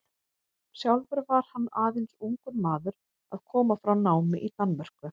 Sjálfur var hann aðeins ungur maður að koma frá námi í Danmörku.